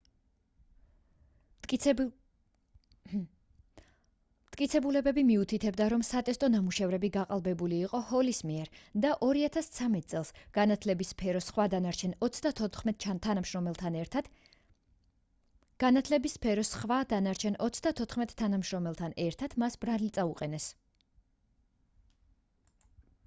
მტკიცებულებები მიუთითებდა რომ სატესტო ნამუშევრები გაყალბებულ იყო ჰოლის მიერ და 2013 წელს განათლების სფეროს სხვა დანარჩენ 34 თანამშრომელთან ერთად მას ბრალი წაუყენეს